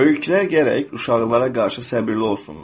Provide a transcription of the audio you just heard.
Böyüklər gərək uşaqlara qarşı səbrli olsunlar.